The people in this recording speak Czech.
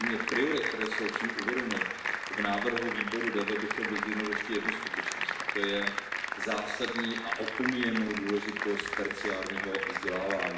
Kromě priorit, které jsou uvedeny v návrhu Výboru pro rozvoj, bych chtěl vyzdvihnout ještě jednu skutečnost, a to zásadní a opomíjenou důležitost terciárního vzdělávání.